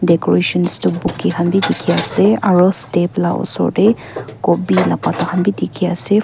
decorations tu bouquet kan b diki ase aro step la osor de gobi la bata kan b diki ase.